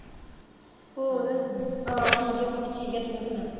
ਹਾਂ ਠੀਕ ਐ ਪੁੱਤ ਠੀਕ ਐ ਤੂੰ ਸੁਣਾ